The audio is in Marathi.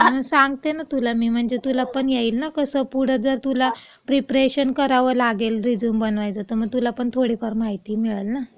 सांगते ना तुला मी, म्हणजे तुला पण येईल ना. म्हणजे कसं पुढं जर तुला प्रिप्रेशन करावं लागेल रिझ्यूम बनवायचं, तर मग तुला पण थोडीफार माहिती मिळेल ना.